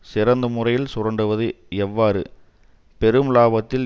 சிறந்த முறையில் சுரண்டுவது எவ்வாறு பெரும் இலாபத்தில்